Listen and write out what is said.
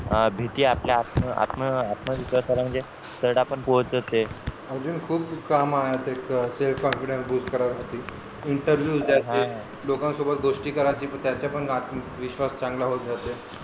भीती आपल्या आत्म आत्म आत्म विश्वासाला म्हणजे तरडा पण पोहोचवते अजून खूप काम आहे ते self confidence bust करण्यासाठी interview द्यायचे लोकांसोबत गोष्टी करायची त्याच्या पण विश्वास चांगला होत जाते